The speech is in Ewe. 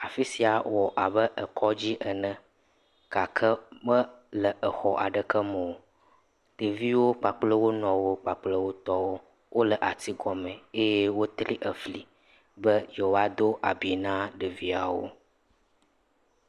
Afi sia wɔ abe kɔdzi ene gake mele exɔ aɖeke me o, ɖeviwo kpakple wo nɔwo kpakple wo tɔwo wole ati gɔmɔ eye wotɔ fli be yewoado abi na ɖeviawo.